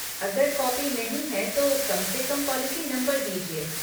अगर कॉपी नहीं है, तो कम से कम पॉलिसी नंबर दीजिए।